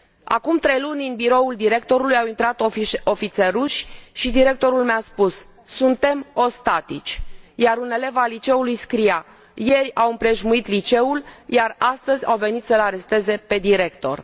Acum trei luni, în biroul directorului au intrat ofițeri ruși și directorul mi a spus Suntem ostatici, iar un elev al liceului scria Ieri au împrejmuit liceul, iar astăzi au venit să l aresteze pe director.